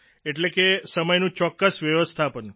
એટલે કે સમયનું ચોક્કસ વ્યવસ્થાપન